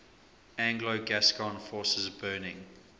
anglo gascon forces burning